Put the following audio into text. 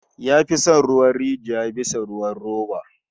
Ya fi son ruwan rijiya bisa ruwan roba